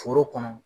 Foro kɔnɔ